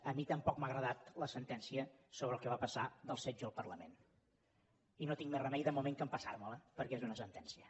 a mi tampoc m’ha agradat la sentència sobre el que va passar en el setge al parlament i no tinc més remei de moment que empassar me la perquè és una sentència